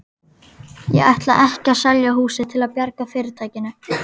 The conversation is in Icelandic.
Ég ætla ekki að selja húsið til að bjarga fyrirtækinu.